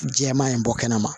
Jɛman in bɔ kɛnɛ ma